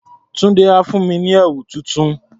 Tunde á fún mi ní ẹ̀wù tuntun.